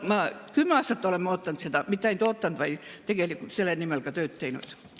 Kümme aastat oleme seda oodanud ja mitte ainult oodanud, vaid tegelikult selle nimel ka tööd teinud.